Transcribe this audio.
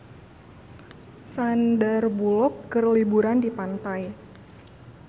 Sandar Bullock keur liburan di pantai